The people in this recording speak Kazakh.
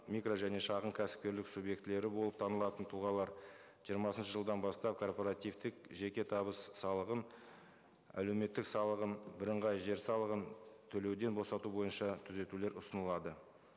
микро және шағын кәсіпкерлік субъектілері болып танылатын тұлғалар жиырмасыншы жылдан бастап корпоративтік жеке табыс салығын әлеуметтік салығын бірыңғай жер салығын төлеуден босату бойынша түзетулер ұсынылады